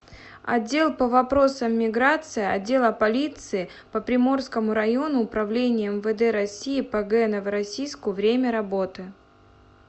отдел по вопросам миграции отдела полиции по приморскому району управления мвд россии по г новороссийску время работы